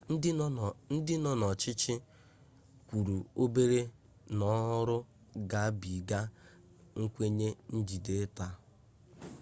ndị nọ n'ọchịchị kwuru obere n'ọrụ gabiga nkwenye njide taa